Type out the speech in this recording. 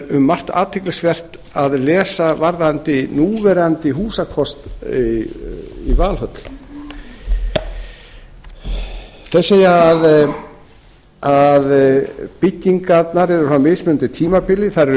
er margt athyglisvert að lesa varðandi núverandi húsakost í valhöll þeir segja að byggingarnar séu frá mismunandi tímabili þær eru